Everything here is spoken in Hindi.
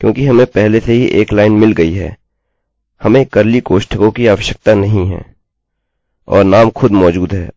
क्योंकि हमें पहले ही एक लाइन मिल गई है हमें कर्ली कोष्ठकों की आवश्यकता नहीं है और नाम खुद मौजूद है अतः यह सही true है